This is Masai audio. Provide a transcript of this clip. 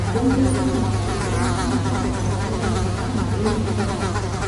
Bunge e Seneti ewangakinye makosa orais Trump eimu kura.